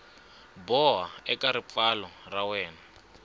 boha eka ripfalo ra wena